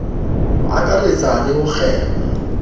ho akaretsa le ho kgema